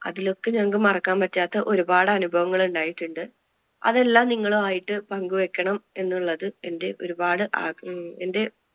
അതിലൊക്കെ ഞങ്ങൾക്ക് മറക്കാൻ പറ്റാത്ത ഒരുപാട് അനുഭവങ്ങൾ ഉണ്ടായിട്ടുണ്ട്. അതൊക്കെ നിങ്ങളും ആയിട്ട് പങ്കു വെക്കണം എന്നുള്ളത് എന്‍റെ ഒരുപാടു ആഗ്ര~ ആഹ് എന്‍റെ